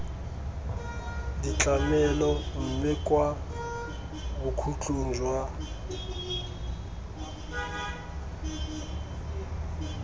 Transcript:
ditlamelo mme kwa bokhutlong jwa